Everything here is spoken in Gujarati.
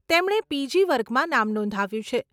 તેમણે પીજી વર્ગમાં નામ નોંધાવ્યું છે.